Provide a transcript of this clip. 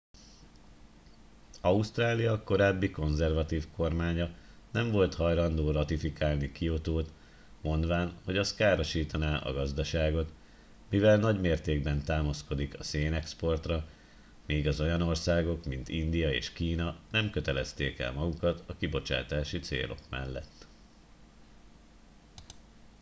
ausztrália korábbi konzervatív kormánya nem volt hajlandó ratifikálni kiotót mondván hogy az károsítaná a gazdaságot mivel nagy mértékben támaszkodik a szénexportra míg az olyan országok mint india és kína nem kötelezték el magukat a kibocsátási célok mellett